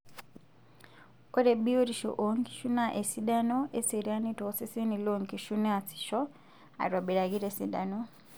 Ore biyotisho oonkishu naa esidano eseriani tooseseni loonkishu neasisho aitobiraki tesidano.